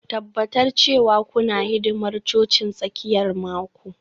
Tabbatar cewa kuna hidimar cocin tsakiyar mako